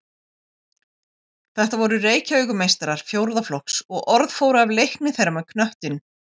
Þetta voru Reykjavíkurmeistarar fjórða flokks og orð fór af leikni þeirra með knöttinn.